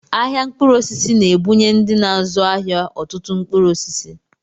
Ahịa mkpụrụ osisi na-ebunye ndị na-azụ ahịa ọtụtụ mkpụrụ osisi